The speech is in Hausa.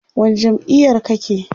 wani jam'iyar kake?